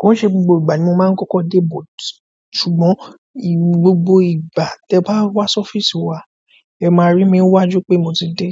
Kò ń ṣe gbogbo ìgbà ni mo máa ń kọ́kọ́ dé, ṣùgbọ́n gbogbo ìgbà tí ẹ bá wá sí ọ́fíìsì wà, ẹ máa rí mi níwájú pé mo ti dé.